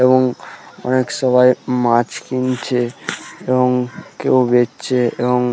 এবং অনেক সবাই মাছ কিনছে এবং কেউ বেচছে এবং--